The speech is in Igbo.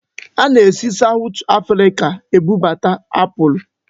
Ana-esi Sawụt Afrịka ebubata apụl.